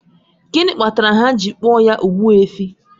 Gịnị kpatara ha ji akpọ ya Ogbuefi?